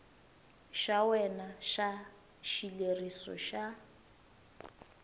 xa wena xa xileriso xa